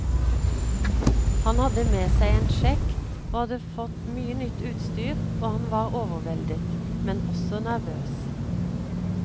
Han hadde med seg en sjekk og hadde fått mye nytt utstyr og han var overveldet, men også nervøs.